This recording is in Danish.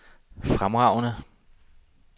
fremragende